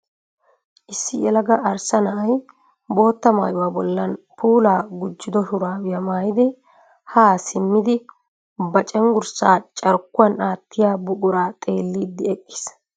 Issi yelaga arssa na'ay bootta maayuwa bollan puulaa gujjido shuraabiya mayyidi haa simmi ba cenggurssaa carkkuwan aattiya buqura xeelliiddi eqqiis